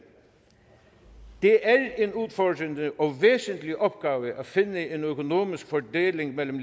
det er en udfordrende og væsentlig opgave at finde en økonomisk fordeling mellem